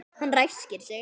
Hann ræskir sig.